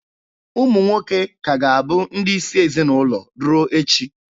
Ụmụ nwoke ka ga-abụ ndị isi ezinaụlọ ruo echi.